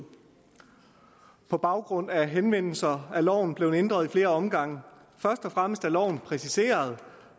på baggrund af henvendelser er loven blevet ændret i flere omgange først og fremmest er loven blevet præciseret